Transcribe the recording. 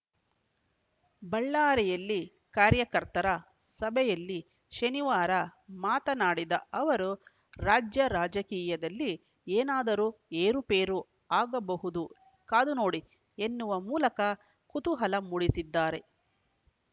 ಬಳ್ಳಾರಿಯಲ್ಲಿ ಕಾರ್ಯಕರ್ತರ ಸಭೆಯಲ್ಲಿ ಶನಿವಾರ ಮಾತನಾಡಿದ ಅವರು ರಾಜ್ಯ ರಾಜಕೀಯದಲ್ಲಿ ಏನಾದರೂ ಏರುಪೇರು ಆಗಬಹುದು ಕಾದು ನೋಡಿ ಎನ್ನುವ ಮೂಲಕ ಕುತೂಹಲ ಮೂಡಿಸಿದ್ದಾರೆ